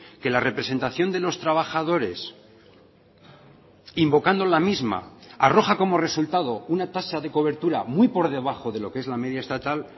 que la representación de los trabajadores invocando la misma arroja como resultado una tasa de cobertura muy por debajo de lo que es la media estatal